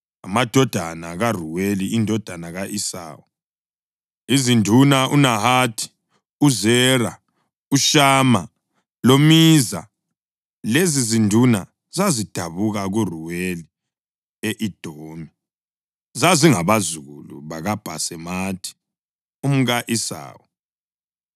Amadodana kaRuweli indodana ka-Esawu: Izinduna uNahathi, uZera, uShama loMiza. Lezizinduna zazidabuka kuRewuli e-Edomi; zazingabazukulu bakaBhasemathi umka-Esawu.